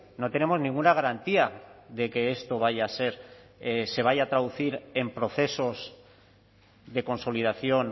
no tenemos ninguna garantía de que esto vaya a ser se vaya a traducir en procesos de consolidación